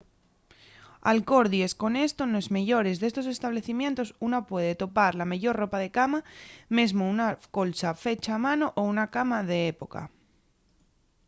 alcordies con esto nos meyores d'estos establecimientos una puede topar la meyor ropa de cama mesmo una colcha fecha a mano o una cama d'época